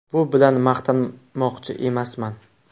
Bu bilan maqtanmoqchi emasman.